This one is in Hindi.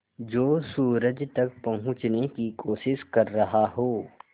जो सूरज तक पहुँचने की कोशिश कर रहा हो